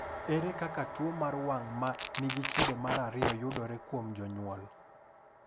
Ere kaka tuwo mar wang’ ma nigi kido mar 2 yudore kuom jonyuol?